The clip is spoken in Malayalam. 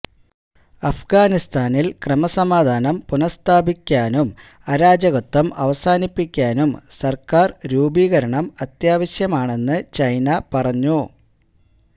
അഫ്ഗാനിസ്ഥാനില് ക്രമസമാധാനം പുനസ്ഥാപിക്കാനും അരാജകത്വം അവസാനിപ്പിക്കാനും സര്ക്കാര് രൂപീകരണം അത്യാവശ്യമാണെന്ന് ചൈന പറഞ്ഞു